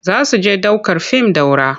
Za su je ɗ aukar fim Daura.